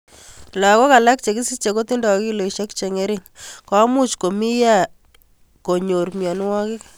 Lahok alak che kisiche kotindoi kiloishek che ngerinhen komuch ko mi yea konyur mionwek.